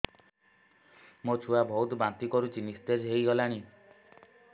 ମୋ ଛୁଆ ବହୁତ୍ ବାନ୍ତି କରୁଛି ନିସ୍ତେଜ ହେଇ ଗଲାନି